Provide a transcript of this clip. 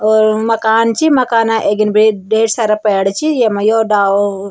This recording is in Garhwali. और मकान च मकाना अग्ने बेट ढेर सारा पैड छि येमा यो डालो।